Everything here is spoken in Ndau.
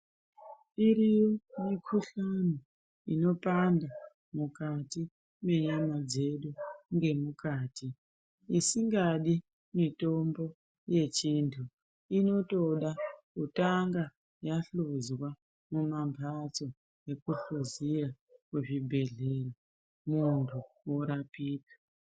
Iri mikhuhlani inopanda mukati mwenyama dzedu dzemukati isingadi mitombo yechintu inotoda kutanga yahlozwa mumamhatso nekukuzeya kuzvibhendleya muntu orapika.